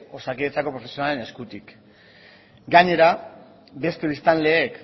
osakidetzako profesionalen eskutik gainera beste biztanleek